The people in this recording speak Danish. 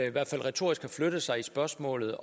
i hvert fald retorisk har flyttet sig i spørgsmålet